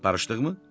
Barışdıqmı?